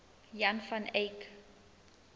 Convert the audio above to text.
jan van eyck